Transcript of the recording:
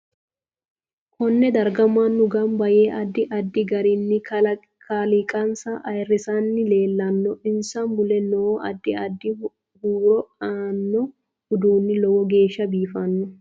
Konne darga mannu ganba yee addi adid garinni kaaliqansa ayiirisanni leelanno insa mule noo addi addi huuro aano uduuni lowo geesha biifano